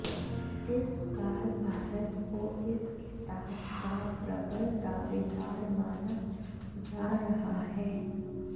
इस बार भारत को इस खिताब का प्रबल दावेदार माना जा रहा है